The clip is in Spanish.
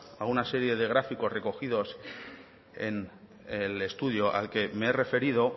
a una serie de gráficos recogidos en el estudio al que me he referido